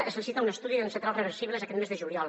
es licita un estudi en centrals reversibles aquest mes de juliol